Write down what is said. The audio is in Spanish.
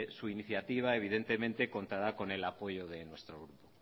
su iniciativa evidentemente contará con el apoyo de nuestro grupo